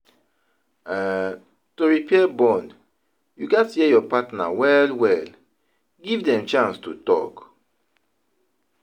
um To repair bond, you gats hear your partner well well, give them chance to talk